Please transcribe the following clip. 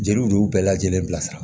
Jeliw de y'u bɛɛ lajɛlen bilasira